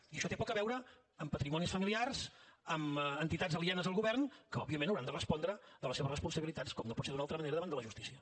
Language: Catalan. i això té poc a veure amb patrimonis familiars amb entitats alienes al govern que òbviament hauran de respondre de les seves responsabilitats com no pot ser d’una altra manera davant de la justícia